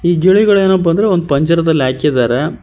E ಗಿಳಿಗಳೆನಪಾ ಅಂದ್ರೆ ಒಂದ ಪಂಜರದಲ್ಲಿ ಹಾಕಿದಾರೆ.